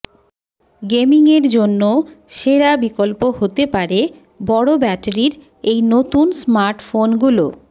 গেমিংয়ের জন্য সেরা বিকল্প হতে পারে বড় ব্যাটারির এই নতুন স্মার্টফোনগুলো